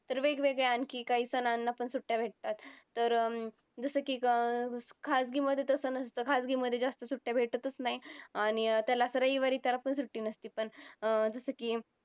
तर वेगवेगळ्या आणखीन काही सणांना पण सुट्ट्या भेटतात. तर जसं की खाजगी मध्ये तसं नसतं. खाजगी मध्ये जास्त सुट्ट्या भेटतच नाहीत. आणि त्याला रविवारी त्याला पण सुट्टी नसते पण अं जसं की